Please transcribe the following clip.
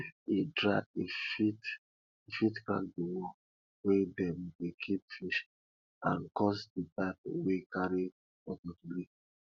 if e dry e fit e fit crack di wall wey dem dey keep fish and cause di pipe wey carry water to leak